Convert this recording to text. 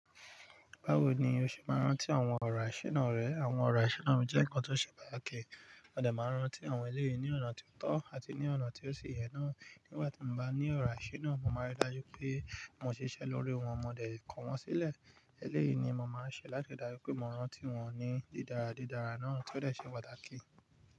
Báwo ni o ṣe máa ń rántí àwọn ọ̀rọ̀ àṣẹ náà rẹ? Àwọn ọ̀rọ̀ àṣináà mi jẹ́ nǹkan tó ṣe pàtàkì. Mo dẹ̀ máa ń rántí àwọn ẹlẹ́yìí ní ọ̀nà tó tọ́ àti ní ọ̀nà tí ó sì yẹ náà. Nígbà tí mo bá ní ọ̀rọ̀ àṣináà, mo máa rí i dájú pé mo ṣiṣẹ́ lórí wọn, mo dẹ̀ kọ wọ́n sílẹ̀. Eléyìí ni mo máa ń ṣe láti dájú pé mo rántí wọn ní dídára dídára náà tí ó dẹ̀ ṣe pàtàkì.